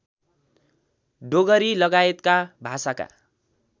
डोगरी लगायतका भाषाका